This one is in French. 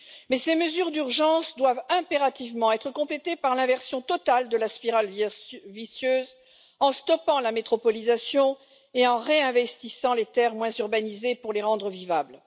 Mais ces mesures d'urgence doivent impérativement être complétées par l'inversion totale de la spirale vicieuse en stoppant la métropolisation et en réinvestissant les terres moins urbanisées pour les rendre vivables.